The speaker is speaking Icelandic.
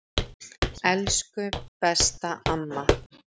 Elsku besta amma.